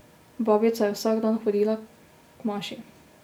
Babica je vsak dan hodila k maši.